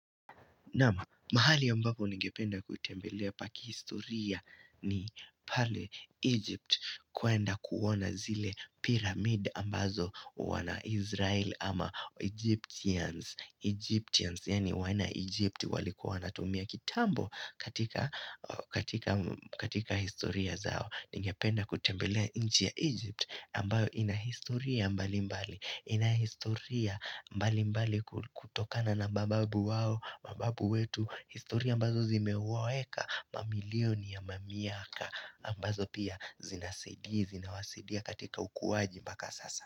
Naam, mahali ambapo ningependa kutembelea pa kihistoria ni pale Egypt kuenda kuona zile pyramid ambazo wana Israel ama Egyptians. Egyptians, yani wana Egypt walikuwa wanatumia kitambo katika historia zao. Ningependa kutembelea inchi ya Egypt ambayo inahistoria mbalimbali Inahistoria mbalimbali kutokana na mababu wao mababu wetu historia ambazo zimewaeka mamilioni ya mamiaka ambazo pia zinasedi Zinawasedia katika ukuwaji mbaka sasa.